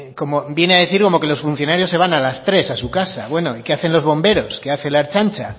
viene a decir como que los funcionarios se van a las tres a su casa bueno y qué hacen los bomberos qué hace la ertzaintza